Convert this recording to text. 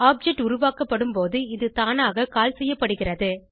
object உருவாக்கப்படும் போது இது தானாக கால் செய்யப்படுகிறது